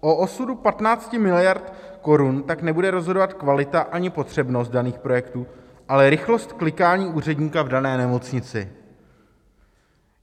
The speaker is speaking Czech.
O osudu 15 miliard korun tak nebude rozhodovat kvalita ani potřebnost daných projektů, ale rychlost klikání úředníka v dané nemocnici.